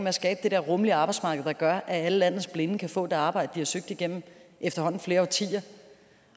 at skabe det der rummelige arbejdsmarked der gør at alle landets blinde kan få det arbejde de har søgt igennem efterhånden flere årtier